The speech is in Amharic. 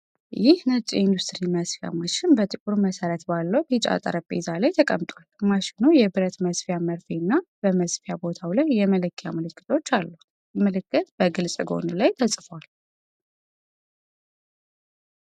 ይህ ነጭ የኢንዱስትሪ መስፊያ ማሽን በጥቁር መሠረት ባለው ቢጫ ጠረጴዛ ላይ ተቀምጧል። ማሽኑ የብረት መስፊያ መርፌ እና በመስፊያ ቦታው ላይ የመለኪያ ምልክቶች አሉት። የ"JUKI DDL-8700" ምልክት በግልጽ ጎን ላይ ተጽፏል።